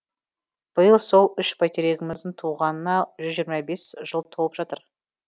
биыл сол үш бәйтерегіміздің туғанына жүз жиырма бес жыл толып жатыр